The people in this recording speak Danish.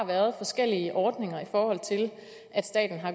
været forskellige ordninger